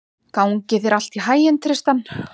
Gangi þér allt í haginn, Tristan.